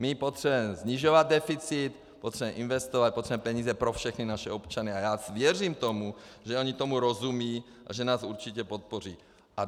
My potřebujeme snižovat deficit, potřebujeme investovat, potřebujeme peníze pro všechny naše občany a já věřím tomu, že oni tomu rozumí a že nás určitě podpoří.